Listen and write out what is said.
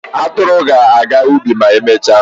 Atụrụ ga-aga ubi ma emechaa.